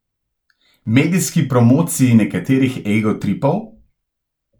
Medijski promociji nekaterih egotripov?